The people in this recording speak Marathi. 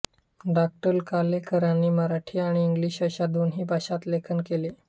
डॉ कालेलकरांनी मराठी आणि इंग्लिश अशा दोन्ही भाषांत लेखन केले